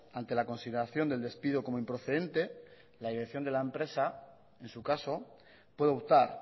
ante la consideración del despido como improcedente la dirección de la empresa en su caso puede optar